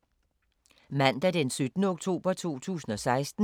Mandag d. 17. oktober 2016